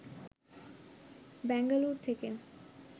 বেঙ্গালুরু থেকে